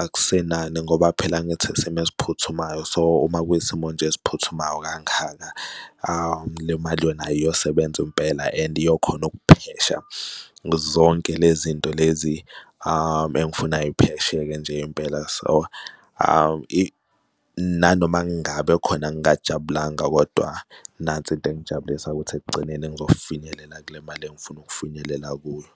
akusenani ngoba phela angithi isimo esiphuthumayo. So uma kuyisimo nje esiphuthumayo kangaka le mali nayo iyosebenza impela and iyokhona ukuphesha zonke lezi nto lezi engifuna y'phesheke nje impela, so nanoma ngabe khona ngajabulanga kodwa nansi into engijabulisayo ukuthi ekugcineni ngizofinyelela kule mali engifuna ukufinyelela kuyo.